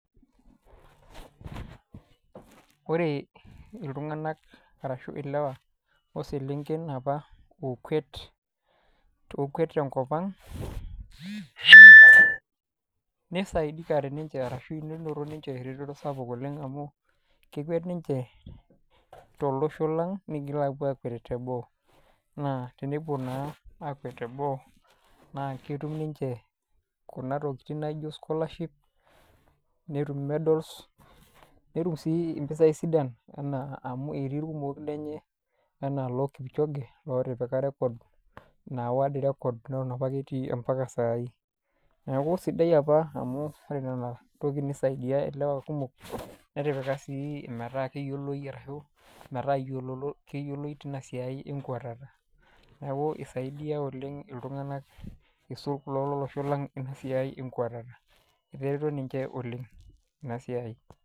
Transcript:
Ore iltung'anak ashu ilewa o selenken oopa okwet te enkop ang', neisaidikate nincche ashu neinoto ninche eretoto sapuk oleng' amu, kekwet ninche tolosho lang' neitoki aapuo aakwet te boo. Naa tenepuo naake akwet te boo na ketum ninche kuna tokitin naijo scholership, netum medals, netum sii impisai sidan, amu etii ilkumok lenye anaa loo Kipchoge, ootipika esrekod naa world record, netop opake etii ompaka saai. Neaku sidai opa amu ore nena tokitin neisaidia ilewa kumok, netipika sii metaa iyiolo iyioe arashu metaa keyioloi teina siai e nkwetata. Neaku eisaidia oleng' iltung'ana aisul kulo lolosho lang' ena sisi enkwetata, etareto ninche oleng' ina siai.